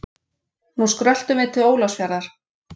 Nú skröltum við til Ólafsfjarðar.